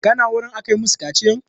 Ka na wurin aka yi masu kaciyan?